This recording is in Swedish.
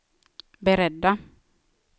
beredda